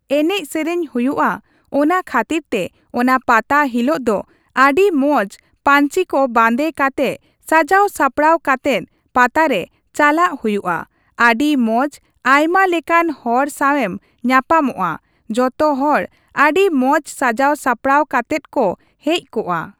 ᱮᱱᱮᱡ ᱥᱮᱨᱮᱧ ᱦᱩᱭᱩᱜᱼᱟ ᱚᱱᱟ ᱠᱷᱟᱹᱛᱤᱨ ᱛᱮ ᱚᱱᱟ ᱯᱟᱛᱟ ᱦᱤᱞᱟᱹᱜ ᱫᱚ ᱟᱹᱰᱤ ᱢᱚᱸᱡ ᱯᱟᱹᱧᱪᱤ ᱠᱚ ᱵᱟᱸᱫᱮ ᱠᱟᱛᱮᱜ ᱥᱟᱡᱟᱣ ᱥᱟᱯᱲᱟᱣ ᱠᱟᱛᱮᱜ ᱯᱟᱛᱟ ᱨᱮ ᱪᱟᱞᱟᱜ ᱦᱩᱭᱩᱜᱼᱟ, ᱟᱹᱰᱤ ᱢᱚᱸᱡ ᱟᱭᱢᱟ ᱞᱮᱠᱟᱱ ᱦᱚᱲ ᱥᱟᱣᱮᱢ ᱧᱟᱯᱟᱢᱚᱜᱼᱟ ᱡᱚᱛᱚ ᱦᱚᱲ ᱟᱹᱰᱤ ᱢᱚᱸᱡ ᱥᱟᱡᱟᱣ ᱥᱟᱯᱲᱟᱣ ᱠᱟᱛᱮᱫ ᱠᱚ ᱦᱮᱡ ᱠᱚᱜᱟ ᱾